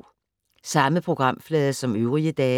Samme programflade som øvrige dage